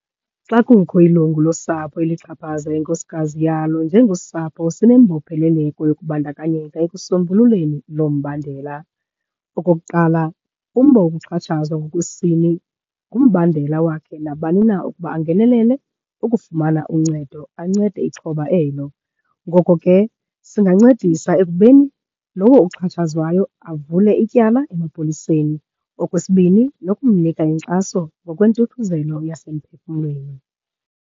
Xa kukho ilungu losapho elixhaphaza inkosikazi yalo, njengosapho sinembopheleleko yokubandakanyeka ekusombululeni loo mbandela. Okokuqala, umba wokuxhatshazwa ngokwesini ngumbandela wakhe nabani na ukuba angenelele ukufumana uncedo, ancede ixhoba elo. Ngoko ke singancedisa ekubeni lowo uxhatshazwayo avule ityala emapoliseni. Okwesibini, nokumnika inkxaso ngokweentuthuzelo yasemphefumlweni.